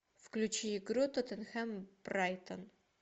включи игру тоттенхэм брайтон